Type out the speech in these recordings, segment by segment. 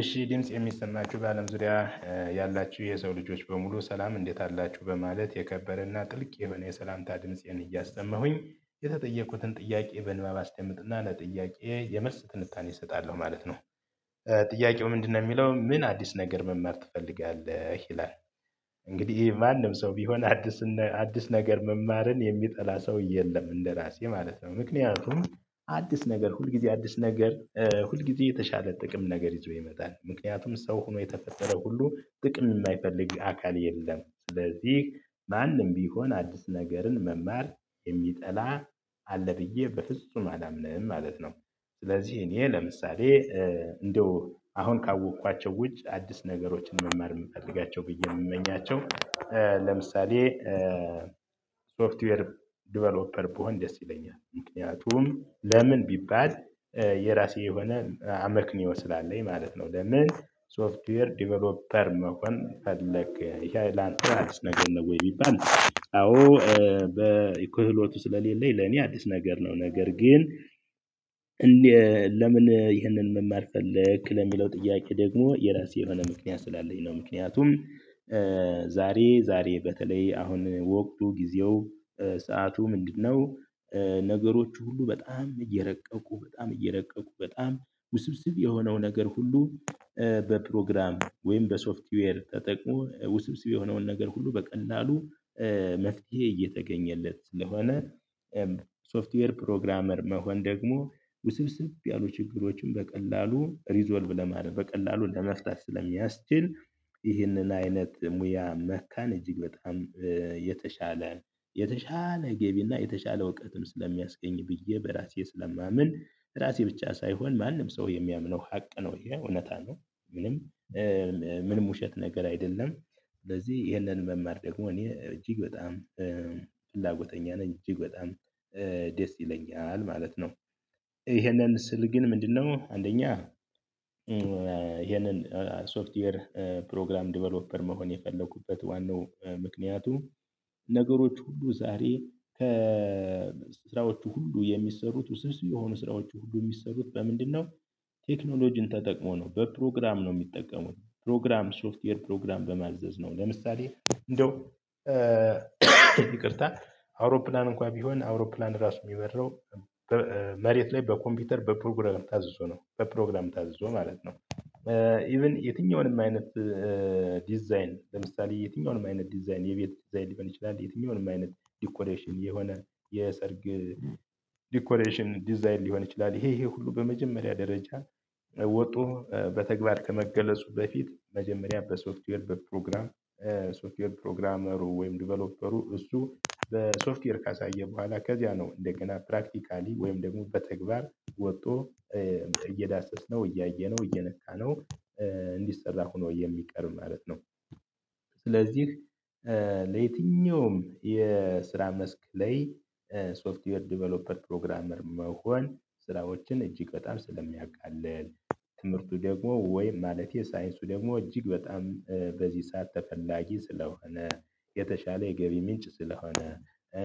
እሺ ድምጽ የሚሰማችሁ በአለም ዙሪያ ያላችሁ የሰው ልጆች በሙሉ ሰላም እንዴት አላችሁ በማለት የከበረና ጥልቅ የሆነ የሰላምታ ድምፄን እያሰማሁኝ የተጠየቁትን ጥያቄ በንባብ አስደምጥና ለጥያቄ የመልስ ትንታኔ እሰጣለሁ ማለት ነው። ጥያቄው ምንድነው የሚለው ምን አዲስ ነገር መማር ትፈልጋለህ ይላል? እንግዲህ ማንም ሰው ቢሆን አዲስ አዲስ ነገር መማርን የሚጠላ ሰው የለም እንደራሴ ማለት ነው። ምክንያቱም አዲስ ነገር ሁል ጊዜ አዲስ ነገር ሁል ጊዜ የተሻለ ጥቅም ነገር ይዞ ይመጣል ምክንያቱም ሰው ሆኖ የተፈጠረ ሁሉ ጥቅም የማይፈልግ አካል የለም። ስለዚህ ማንም ቢሆን አዲስ ነገርን መማር የሚጠላ አለ ብዬ በፍጹም አላምንም ማለት ነው። ስለዚህ እኔ ለምሳሌ እንደው አሁን ካወቅኳቸው ውጭ አዲስ ነገሮችን መማር የምፈልጋቸው ብዬ የምመኛቸው። ለምሳሌ ሶፍትዌር ዴቨሎፐር ብሆን ደስ ይለኛል። ምክንያቱም ለምን ቢባል? የራሴ የሆነ አመክኒዮ ስላለኝ ማለት ነው። ለምን ሶፍትዌር ዴቨሎፐር መሆን ፈለክ? ይሄ ላንተ አዲስ ነገር ነው ወይ ቢባል? አዎ። በክህሎቱ ስለሌለኝ ለኔ አዲስ ነገር ነው። ነገር ግን ለምን ይህንን መማር ፈለክ ለሚለው ጥያቄ ደግሞ የራሴ የሆነ ምክንያት ስላለኝ ነው። ምክንያቱም ዛሬ ዛሬ በተለይ አሁን ወቅቱ ጊዜው ሰዓቱ ምንድነው? ነገሮች ሁሉ በጣም እየረቀቁ በጣም እየረቀቁ በጣም ውስብስብ የሆነው ነገር ሁሉ በፕሮግራም ወይም በሶፍትዌር ተጠቅሞ ውስብስብ የሆነውን ነገር ሁሉ በቀላሉ መፍትሄ እየተገኘለት ስለሆነ። ሶፍትዌር ፕሮግራመር መሆን ደግሞ ውስብስብ ያሉ ችግሮችን በቀላሉ ሪዞልቭ ለማድረግ በቀላሉ ለመፍታት ስለሚያስችል። ይህንን አይነት ሙያ መካን እጅግ በጣም የተሻለ የተሻለ ገቢና የተሻለ እውቀትም ስለሚያስገኝ ብዬ በራሴ ስለማምን። ራሴ ብቻ ሳይሆን ማንም ሰው የሚያምነው ሀቅ ነው የእውነታ አለው። ምንም ምንም ውሸት ነገር አይደለም። ስለዚህ ይሄንን መማር ደግሞ እኔ እጅግ በጣም ፍላጎተኛ ነኝ እጅግ በጣም ደስ ይለኛል ማለት ነው። ይሄንን ስል ግን ምንድነው አንደኛ ይሄንን ሶፍትዌር ፕሮግራም ዴቨሎፐር መሆን የፈለኩበት ዋናው ምክንያቱ። ነገሮች ሁሉ ዛሬ ከ ስራዎቹ ሁሉ የሚሰሩት ውስብስብ የሆኑ ስራዎቹ ሁሉ የሚሰሩት በምንድነው? ቴክኖሎጂን ተጠቅሞ ነው በፕሮግራም ነው የሚጠቀመው ፕሮግራም ሶፍትዌር ፕሮግራም በማዘዝ ነው። ለምሳሌ እንደው ይቅርታ አውሮፕላን እንኳን ቢሆን አውሮፕላን ራሱ የሚበረው መሬት ላይ በኮምፒውተር በፕሮግራም ታዝዞ ነው በፕሮግራም ታዝዞ ማለት ነው። ኢቭን የትኛውንም አይነት ዲዛይን ለምሳሌ የትኛውንም አይነት ዲዛይን የቤት ዲዛይን ሊሆን ይችላል። የትኛውንም አይነት ዲኮሬሽን የሆነ የሰርግ ዲኮሬሽን ዲዛይን ሊሆን ይችላል። ይሄ ይሄ ሁሉ በመጀመሪያ ደረጃ ወጡ በተግባር ከመገለጹ በፊት መጀመሪያ በሶፍትዌር በፕሮግራም። ሶፍትዌር ፕሮግራመሩ ወይም ዲቨሎፐሩ እሱ በሶፍትዌር ካሳየን በኋላ ከዚያ ነው እንደገና ፕራክቲካሊ ወይም ደግሞ በተግባር ወጥቶ እየዳሰስነው እያየነው እየነካነው እንዲሰራ ሆኖ የሚቀርብ ማለት ነው። ስለዚህ ለየትኛውም የስራ መስክ ላይ ሶፍትዌር ዴቨሎፐር ፕሮግራመር መሆን ስራዎችን እጅግ በጣም ስለሚያቃልል። ትምህርቱ ደግሞ ወይም ማለቴ ሳይንሱ ደግሞ እጅግ በጣም በዚህ ሰዓት ተፈላጊ ስለሆነ። የተሻለ የገቢ ምንጭ ስለሆነ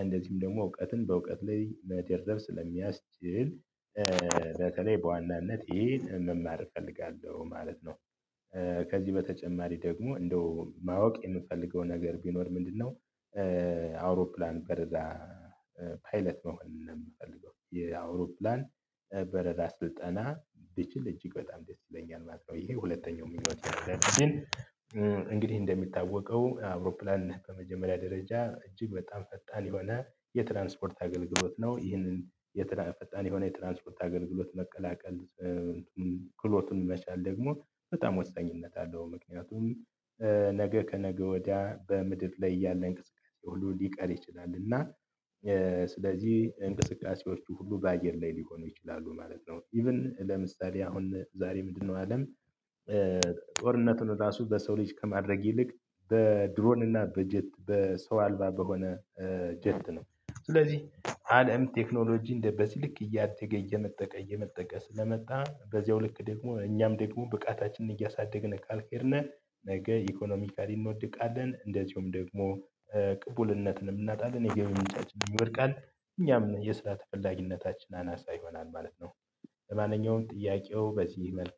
እንደዚሁም ደግሞ እውቀትን በእውቀት ላይ መደረብ ስለሚያስችል። በተለይ በዋናነት ይሄን መማር እፈልጋለሁ ማለት ነው። ከዚህ በተጨማሪ ደግሞ እንደው ማወቅ የምፈልገው ነገር ቢኖር ምንድነው? አውሮፕላን በረራ ፓይለት መሆን ነው የምፈልገው የአውሮፕላን በረራ ስልጠና ብችል እጅግ በጣም ደስ ይለኛል ማለት ነው ይሄ ሁለተኛው ምኞቴ ነው። እንግዲህ እንደሚታወቀው አውሮፕላን ከመጀመሪያ ደረጃ እጅግ በጣም ፈጣን የሆነ የትራንስፖርት አገልግሎት ነው። ይህንን ፈጣን የሆነ የትራንስፖርት አገልግሎት መቀላቀል ክህሎቱን መቻል ደግሞ በጣም ወሳኝነት አለው። ምክንያቱም ነገ ከነገ ወዲያ በምድር ላይ ያለ እንቅስቃሴ ሁሉ ሊቀር ይችላል። እና ስለዚህ እንቅስቃሴዎቹ ሁሉ በአየር ላይ ሊሆኑ ይችላሉ ማለት ነው። ኢቭን ለምሳሌ አሁን ዛሬ ምንድነው አለም? ጦርነቱን ራሱ በሰው ልጅ ከማድረግ ይልቅ በድሮንና በጀት በሰው አልባ በሆነ ጀት ነው። ስለዚህ አለም ቴክኖሎጂ እንደ በስልክ እያደገ እየመጠቀ እየመጠቀ ስለመጣ በዚያው ልክ ደግሞ እኛም ደግሞ ብቃታችንን እያሳደግን ካልሄድን ነገ ኢኮኖሚካሊ እንወድቃለን። እንደዚሁም ደግሞ ቅቡልነትንም እናጣለን የገቢ ምንጫችንም ይወድቃል። እኛም የስራ ተፈላጊነታችን አናሳ ይሆናል ማለት ነው። ለማንኛውም ጥያቄው በዚህ